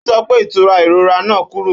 Ó sọ pé ìtura ìrora náà korò.